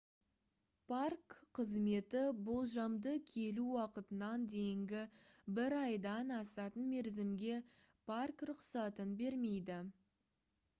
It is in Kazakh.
парк қызметі minae болжамды келу уақытынан дейінгі бір айдан асатын мерзімге парк рұқсатын бермейді